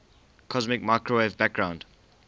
cosmic microwave background